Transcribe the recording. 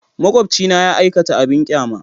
Makwabcina ya aikata abin ƙyama.